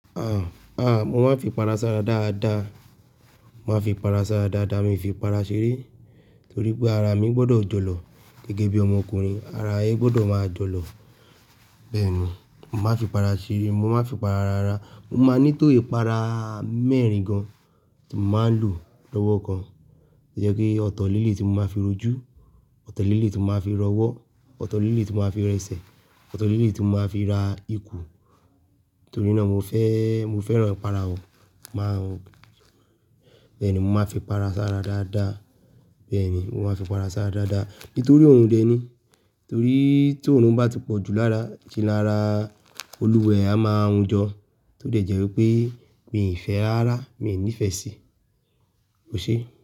À, à, mo máa ń fi para sára dáadáa. Mo máa ń fi para sára dáadáa, mi ò fi para ṣeré torí pé ara mi gbọdọ̀ jọ lọ gẹ́gẹ́ bí ọmọkùnrin, ara ẹ gbọdọ̀ máa jọ lọ. Bẹ́ẹ̀ ni, mo má fi para ṣeré, mo má fi para rárá. Mo máa ní tó ìpara mẹ́rin gan tí mo máa ń lò lọ́wọ́ kan. Tó jẹ́ pé ọ̀tọ̀ leléyìí tí mo máa fi r'ojú, ọ̀tọ̀ leléyìí tí mo máa fi r'ọwọ́, ọ̀tọ̀ leléyiìí tí mo máa fi r'ẹsẹ̀, ọ̀tọ̀ leléyìí tí mo máa fi ra ikùn. Torí náà mo fẹ́, mo fẹ́ràn ìpara ọ̀, máa ń, bẹ́ẹ̀ ni mo máa ń fi para sára dáadáa. Bẹ́ẹ̀ ni, mo máa ń fi para sára dáadáa. Nítorí òrùn dẹ̀ ni. Torí t'órùn bá ti pọ̀jù lára, ṣe ni ara Olúwa ẹ̀ á máa hun jọ, tó dẹ̀ jẹ́ wípé mi ò fẹ́ rárá, mi ò nífẹ̀ẹ́ síi, ẹṣé.